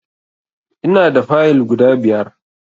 Ina da Fayill guda biyar